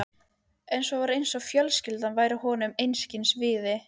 En svo var eins og fjölskyldan væri honum einskis virði.